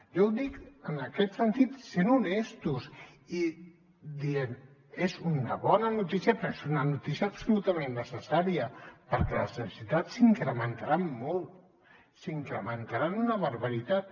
jo ho dic en aquest sentit sent honestos i dient és una bona notícia però és una notícia absolutament necessària perquè les necessitats s’incrementaran molt s’incrementaran una barbaritat